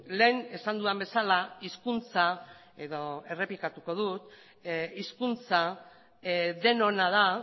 lehen esan dudan bezala hizkuntza edo errepikatuko dut hizkuntza denona da